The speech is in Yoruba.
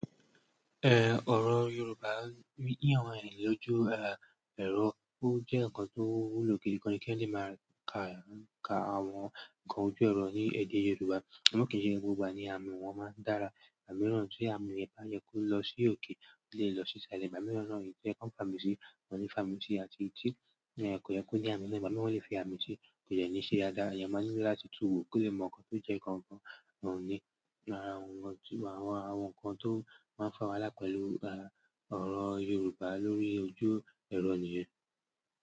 Eh, oro Yoruba ni àwọn ènìyàn lójú èrọ, o jẹ́ nǹkan tó wúlò gidi gan kí èèyàn lè máa ka àwọn nǹkan ojú èrò ní èdè Yoruba. Àmọ́ kìí ṣe gbogbo ni àmì wọn máa dára, àmì mìíràn tí àmì yẹn bá yẹ kó lọ sí òkè o lè lọ sí ìsàlẹ̀, ìgbà mìíràn náà ibi tí ó yẹ kan fàmì sí, wọ́n ní fàmì sí àti ti kò yẹ kó ní àmì náà, àmì náà lè fi àmì sí kò yẹ́ ní í ṣe dáadáa. Èèyàn máa ní láti túnwò kó lè mọ nǹkan tó jẹ́ gangan ni ara wọn. Wọ́n ní àwọn nǹkan tó máa ń fa wàhálà pẹ̀lú ọ̀rọ Yoruba lórí ojú èrò nìyẹn.